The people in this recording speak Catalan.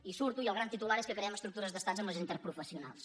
i surto i el gran titular és que creem estructures d’estat amb les interprofessionals